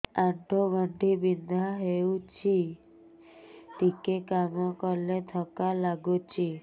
ଆଣ୍ଠୁ ଗଣ୍ଠି ବିନ୍ଧା ହେଉଛି ଟିକେ କାମ କଲେ ଥକ୍କା ଲାଗୁଚି